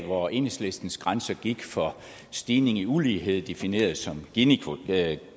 hvor enhedslistens grænse gik for stigning i ulighed defineret som